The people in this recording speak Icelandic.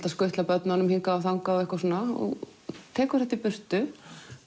að skutla börnunum hingað og þangað þú tekur þetta í burtu